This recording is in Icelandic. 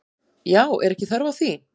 Já, er ekki þörf á því?